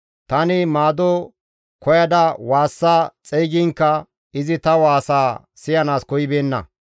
Tani maado koyada waassa xeygiinkka izi ta waasaa siyanaas koyibeenna.